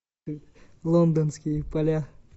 лондонские поля